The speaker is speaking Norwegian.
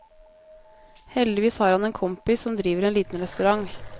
Heldigvis har han en kompis som driver en liten restaurant.